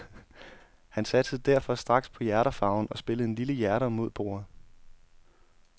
Han satsede derfor straks på hjerterfarven og spillede en lille hjerter mod bordet.